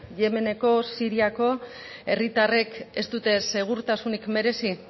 yemeneko siriako herritarrek ez dute segurtasunik merezi